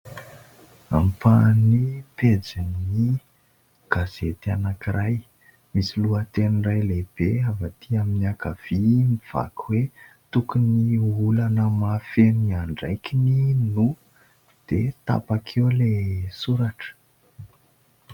Ampahan'ny pejin'ny gazety anankiray, misy lohateny iray lehibe avy ay amin'ny ankavia, mivaky hoe tokony olana mahafehy ny andraikiny no, dia tapaka eo ilay soratra.